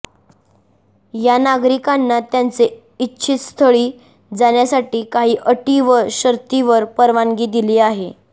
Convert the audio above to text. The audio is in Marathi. या नागरिकांना त्यांचे इच्छीत स्थळी जाण्यासाठी काही अटी व शर्तीवर परवानगी दिली आहे